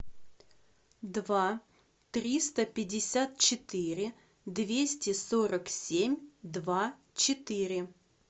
два триста пятьдесят четыре двести сорок семь два четыре